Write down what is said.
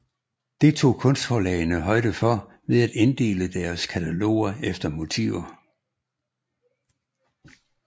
Det tog kunstforlagene højde for ved at inddele deres kataloger efter motiver